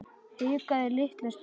Hikaði litla stund.